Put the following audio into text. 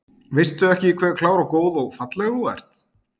Veistu ekki hve klár og góð og falleg þú ert?